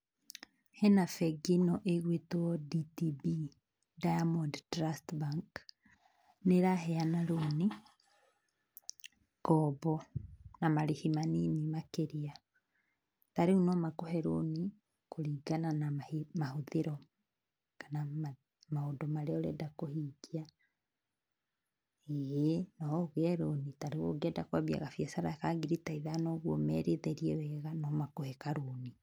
Hena bengi ĩno ĩgwĩtwo DTB, Diamond Trust Bank, nĩ ĩraheana rũni, ngombo na marĩhi manini makĩria. Ta rĩu no makũhe rũni kũringana na mahũthĩro kana maũndũ marĩa ũrenda kũhingia. ĩĩ no ũgĩe rũni ta rĩu ũngĩenda kwambia gabiacara ka ngiri ta ithano ũguo ũmerithĩrie wega no makũhe karũni